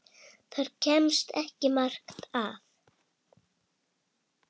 Þar kemst ekki margt að.